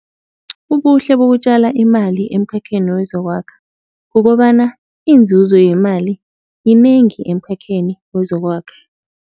Ubuhle bokutjala imali emkhakheni wezokwakha kukobana iinzuzo yemali yinengi emkhakheni wezokwakha.